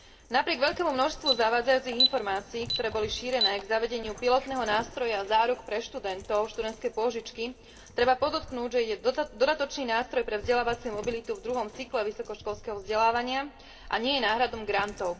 Napriek veľkému množstvu zavádzajúcich informácií, ktoré boli šírené k zavedeniu pilotného nástroja záruk pre študentov študentské pôžičky, treba podotknúť, že ide o dodatočný nástroj pre vzdelávaciu mobilitu v druhom cykle vysokoškolského vzdelávania a nie je náhradou grantov.